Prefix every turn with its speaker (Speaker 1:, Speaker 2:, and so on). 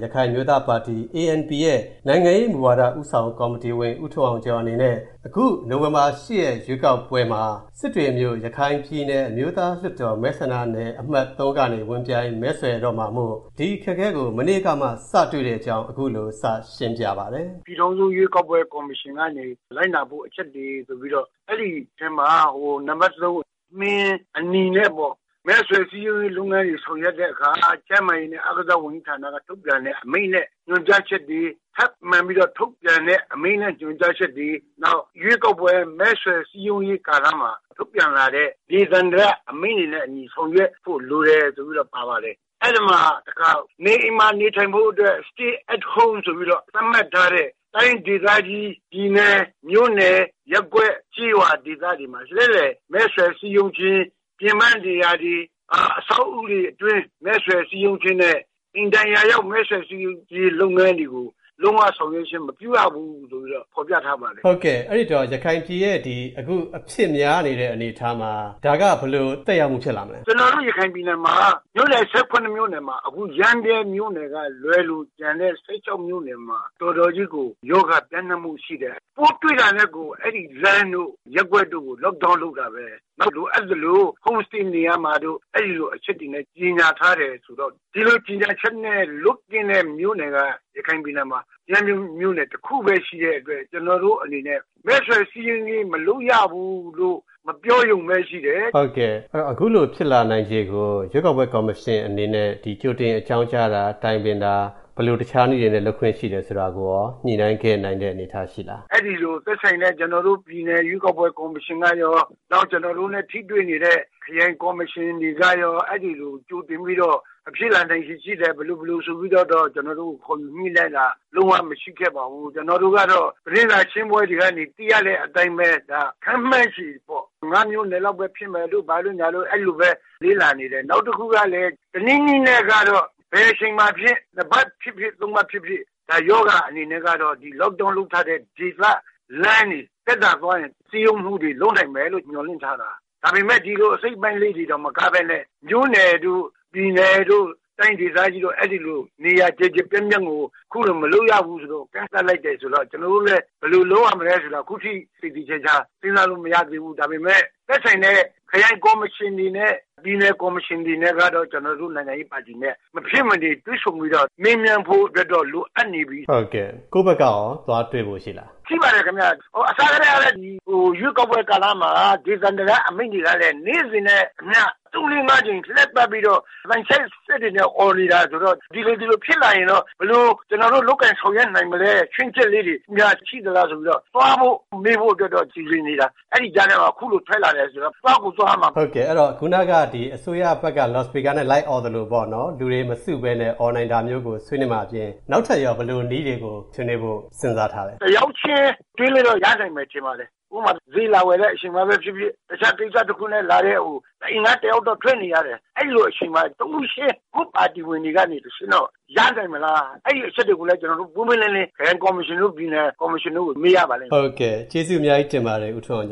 Speaker 1: ရခိုင်အမျိုးသားပါတီ ရဲ့ နိုင်ငံရေးမူဝါဒဦးဆောင်ကော်မတီဝင် ဦးထွန်းအောင်ကျော်အနေနဲ့၊ အခုနိုဝင်ဘာ ရက်ရွေးကောက်ပွဲမှာ၊ ရခိုင်ပြည်နယ် စစ်တွေမြို့နယ် အမျိုးသားလွှတ်တော်မဲဆန္ဒနယ်အမှတ် ကနေ ဝင်ပြိုင်၊ မဲဆွယ်တော့မှာမို့၊ ဒီအခက်အခဲကို မနေ့ကမှ စတွေ့တဲ့အကြောင်း ခုလိုစရှင်းပြပါတယ်။
Speaker 2: " ပြည်ထောင်စုရွေးကောက်ပွဲကော်မရှင်ကနေ လိုက်နာဖို့အချက်တွေဆိုပြီးတော့၊ အဲ့ဒိအထဲမှာ ဟို နံပါတ် မှင်အနီနဲ့ပေါ့၊ မဲဆွယ်စည်းရုံးရေးလုပ်ငန်းတွေဆောင်ရွက်တဲ့အခါ၊ ကျန်းမာရေးနဲ့ အားကစားဝန်ကြီးဌာနက ထုတ်ပြန်တဲ့အမိန့်နဲ့ညွှန်ကြားချက်တွေ၊ ထပ်မံပြီးထုတ်ပြန်မယ့် အမိန့်နဲ့ညွှန်ကြားချက်တွေ၊ နောက် ရွေးကောက်ပွဲမဲဆွယ်စည်းရုံးရေးကာလမှာ ထုတ်ပြန်လာတဲ့ ဒေသန္တရအမိန့်တွေနဲ့ အညီ ဆောင်ရွက်ဖို့လိုတယ်ဆိုပြီးတော့ ပါပါတယ်။အဲ့ဒီမှာတခါ နေအိမ်မှာနေထိုင်ဖို့အတွက် Stay at Home ဆိုပြီးတော့ သတ်မှတ်ထားတဲ့၊ တိုင်းဒေသကြီး၊ ပြည်နယ်၊ မြို.နယ်၊ ရပ်ကွက်၊ ကျေးရွာဒေသတွေမှာ လှည့်လည်မဲဆွယ်စည်းရုံးခြင်း၊ ပြင်ပနေရာတွေ၊ အဆောက်အဦးတွေအတွင်းမဲဆွယ်စည်းရုံးခြင်းနဲ့ အိမ်တိုင်ရာရောက်မဲဆွယ်စည်းရုံးခြင်းလုပ်ငန်းတွေကို၊ လုံးဝ ဆောင်ရွက်ခြင်းမပြုရဘူးဆိုပြီးတော့ ဖော်ပြထားပါတယ်။" ကိုဝင်းမင်း။ ။ အ
Speaker 1: ဲ့ဒီတော့ အခု ရခိုင်ပြည်ရဲ့အခု ကိုဗစ်အဖြစ်များနေတဲ့ အနေအထားမှာ၊ ဒါက ဘယ်လိုသက်ရောက်မှု ဖြစ်လာမလဲ။
Speaker 2: ဦးထွန်းအောင်ကျော်။ ။ ကျွန်တော်တို့ ရခိုင်ပြည်နယ်မှာ မြို.နယ် ၁၇ မြို.နယ်မှာ အခု ရမ်းဗြဲမြို့ နယ်ကလွဲလို့၊ ကျန်တဲ့ ၁၆ မြို.နယ်မှာ တော်တော်ကြီးကို ရောဂါပျံ့နှံ့မူရှိတယ်။ပိုးတွေ့တာနဲ့ကို အဲ့ဒီလမ်းတို့၊ ရပ်ကွက်တို့ကို Lockdown လုပ်တာပဲ။နောက်လိုအပ်သလို Home Stay နေရမှာတို့၊ အဲ့လိုအချက်တွေနဲ့ကြေညာထားတယ်ဆိုတော့၊ ဒီလိုကြေညာချက်နဲ့လွတ်ကင်းတဲ့ မြို့နယ်က၊ ရခိုင်ပြည်နယ်မှာ ရမ်းဗြဲမြို.နယ် တစ်ခုထဲရှိတဲ့အတွက်၊ ကျွန်တော်တို့အနေနဲ့ မဲဆွယ်စည်းရုံးရေး မလုပ်ရဘူးလို့ မပြောရုံပဲရှိတယ်။ ကိုဝင်း
Speaker 1: မင်း။ ။ အဲ့ဒီတော့ အခုလိုဖြစ်လာနိုင်ခြေကို ရွေးကောက်ပွဲကော်မရှင်အနေနဲ့ ကြိုတင် အကြောင်းကြားတာ၊ တိုင်ပင်တာ၊ ဘယ်လိုတခြားနည်းတွေနဲ့ လုပ်ခွင့်ရှိတယ်ဆိုတာကိုရော၊ ညှိုနှိုင်းခဲ့နိုင်တဲ့ အနေအထားရှိခဲ့လား။ ဦး
Speaker 2: ထွန်းအောင်ကျော်။ ။ အဲ့ဒီလို သက်ဆိုင်တဲ့ ကွန်တော်တို့ ပြည်နယ်ရွေးကောက်ပွဲကော်မရှင်ကရော၊ နောက်ကျွန်တော်တို့နဲ့ ထိတွေ့နေတဲ့ ခရိုင်ကော်မရှင်တွေကရော၊ အဲ့ဒိလို ကြိုတင်ပြီးတော့၊ ဖြစ်လာနိုင်ခြေ ရှိတယ်၊ ဘယ်လို ဘယ်လိုဆိုပြီးတော့၊ ကျွန်တော်တို့ကို ခေါ်ယူညိနှိုင်းတာ လုံးဝ မရှိခဲ့ပါဘူး။ကျွန်တော်တို့ကတော့ သတင်းစာရှင်းပွဲတွေကနေ သိရတဲ့အတိုင်းပဲ၊ ဒါခန့်မှန်းခြေပေါ့၊ ၅ မြို့နယ်လောက်ပဲ ဖြစ်မယ်တို့ ဘာတို့ညာတို့ အဲ့လိုပဲ လေ့လာနေတယ်။နောက်တစ်ခုကလည်း တစ်နည်းနည်းနဲ့ကတော့၊ ဘယ်အချိန်မှာဖြင့်၊ ၁ ပတ်ဖြြစ်ဖစ် ၃ ပတ်ဖြစ်ဖြစ်၊ ဒါရောဂါအနေနဲ့ကတော့ ဒီ Lockdown လုပ်ထားတဲ့ ဒေသ၊ လမ်းတွေမှာ သက်သာသွားရင် စည်းရုံးမူတွေ၊ လုပ်နိုင်မယ်လို့ မျှော်လင့်ထားတာ။ဒါပေမဲ့ ဒီလို အစိတ်အပိုင်းလေးတွေတင် မကဘဲနဲ့၊ မြို.နယ်တို့ ပြည်နယ်တို့ တိုင်းဒေသကြီးတို့၊ အဲ့ဒီလို နေရာကျယ်ကျယ်ပြန့်ပြန့်ကို ခုလိုမလုပ်ရဘူးဆိုတော့၊ ကန့်သတ်လိုက်တယ်ဆိုတော့၊ ကျွန်တော်တို့လည်း ဘယ်လိုလုပ်ရမလဲဆိုတာ ခုထိ သေသေချာချာ စဉ်းစားလို့မရသေးဘူး။ဒါပေမဲ့ သက်ဆိုင်တဲ့ ခရိုင်ကော်မရှင်တွေနဲ့၊ ပြည်နယ်ကော်မရှင်တွေနဲ့ကတော့၊ ကျွန်တော်တို့ နိုင်ငံရေးပါတီနဲ့ မဖြစ်မနေ တွေ့ဆုံပြီးတော့၊ မေးမြန်းဖို့တော့ လိုအပ်နေပြီ။ ကိုဝင်
Speaker 1: းမင်း။ ။ ကိုယ့်ဘက်ကရော ကော်မရှင်ကို သွားတွေ့ဖို့ရှိလား
Speaker 2: ။ ဦးထွန်းအောင်ကျော်။ ။ ရှိပါတယ် ခင်ဗျ။အစထဲကလည်း ရွေးကောက်ပွဲကာလမှာ ဒေသန္တရ အမိန့်တွေကလည်း၊ နေ့စဉ်နဲ့အမျှ ၃၊ ၄၊ ၅ ကြိမ် လှည့်ပတ်ပြီးတော့၊ အသံချဲ့စက်တွေနဲ့ အော်နေတာဆိုတော့၊ ဒီလိုဒီလိုဖြစ်လာရင်တော့၊ ဘယ်လို ကျွန်တော်တို့လည်း လုပ်ကိုင်ဆောင်ရွက်နိုင်မလဲ၊ ချွင်းချက်လေးတွေများ ရှိသလားဆိုပြီးတော့၊ သွားဖို့ မေးဖို့တော့ စီစဉ်နေတာ။အဲ့ဒီကြားထဲမှာ ခုလိုထွက်လာတယ်ဆိုတော့၊ သွားကို သွားရမှ
Speaker 1: ာ။ ကိုဝင်းမင်း။ ။ အဲ့ဒိတော့ ခုနက အစိုးရဘက်ကနေ လော်စပီကာနဲ့ လိုက်အော်သလိုပေါ့နော်၊ လူတွေမစုပဲနဲ့ အော်နိုင်တာမျိုးကိုဆွေးနွေးမှာအပြင်၊ နောက်ထပ်ရော ဘယ်လိုနည်းတွေကို ဆွေးနွေးဖို့ စဉ်းစားထားလဲ။
Speaker 2: ဦးထွန်းအောင်ကျော်။ ။ တစ်ယောက်ချင်း တွေ့လို့တော့ ရနိုင်မယ်ထင်ပါတယ်။ဥပမာ ဈေးလာဝယ်တဲ့ အချိန်မှာဖြစ်ဖြစ်၊ တခြားကိစ္စတစ်ခုနဲ့လာတဲ့ ဟို၊ တစ်အိမ်က တစ်ယောက်တော့ ထွက်နေရတယ်။အဲ့ဒီလိုအချိန်မှာ တစ်ဦးချင်းကို၊ ကိုယ့်ပါတီဝင်တွေကတစ်ဆင့်၊ စည်းရုံးလို့ ရနိုင်မလား၊အဲ့ဒီအချက်တွေကိုလည်း ပွင့်ပွင့်လင်းလင်း ခရိုင်ကော်မရှင်တို့၊ ပြည်နယ်ကော်မရှင်တို့ကို မေးရပါလိမ့်မယ်။ ကိုဝင
Speaker 1: ်းမင်း။ ။ ကျေးဇူးအများကြီးတင်ပါတယ်၊ ဦးထွန်းအောင်